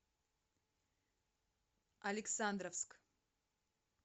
александровск